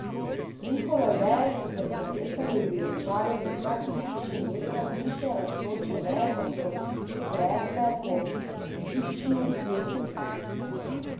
Njihove veje so se prepletale in ječale z vsakim pišem vetra, više rastoče veje pa so greble po obličju meseca.